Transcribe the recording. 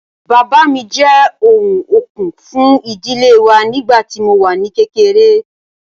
Bàbá mi jẹ́ ọ̀wọ̀n okun fún ìdílé wa nígbà tí mo wà ní kékeré